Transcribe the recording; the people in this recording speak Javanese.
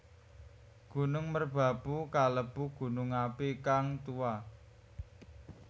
Gunung Merbabu kalebu gunung api kang tuwa